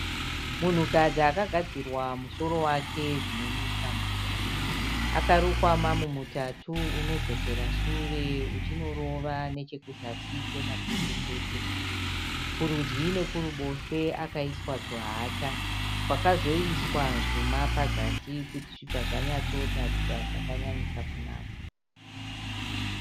Munhukadzi akagadzirwa musoro wake zvinonwisa mvura akarukwa mamumutatu unodzokera sure uchinorova nechekuzasi kwemapendekete kurudyi nekuruboshwe akaiswa tuhata twakazoiswa zvuma pazasi kuti zvibva zvanyatsotaridza zvakanyanyisa kunaka.